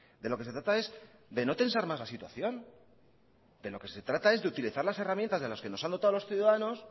de lo que se trata es de no tensar más la situación de lo que se trata es de utilizar las herramientas de las que nos han dotado los ciudadanos